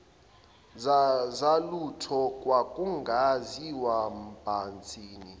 zalutho kwakungaziwa mbhantshi